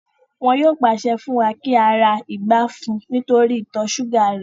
Wọn yóò pàṣẹ fún wa kí á ra ikàn fún un nítorí ìtọ̀ súgà rẹ̀